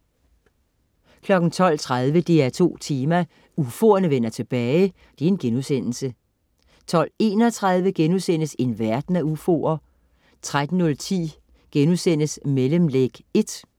12.30 DR2 Tema: UFOerne vender tilbage* 12.31 En verden af UFOer* 13.09 Mellemlæg 1*